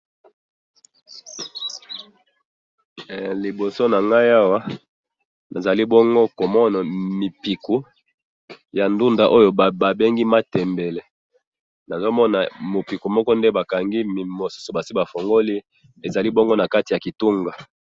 Na mipiko ya ndunda basi bafungula na mususu eza na kitunga.